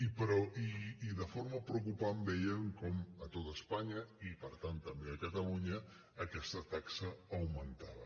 i de forma preocupant vèiem com a tot espanya i per tant també a catalunya aquesta taxa augmentava